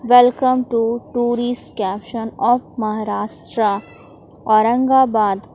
welcome to tourist caption of Maharashtra Aurangabad --